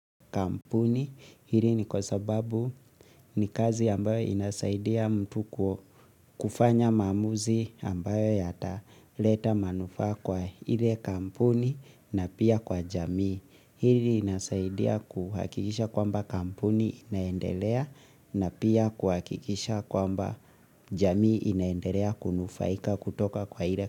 Kampuni hili ni kwa sababu ni kazi ambayo inasaidia mtu kufanya mamuzi ambayo yata leta manufa kwa hile kampuni na pia kwa jamii. Hili inasaidia kuhakikisha kwamba kampuni inaendelea na pia kuhakikisha kwamba jamii inaendelea kunufaika kutoka kwa hile kampuni.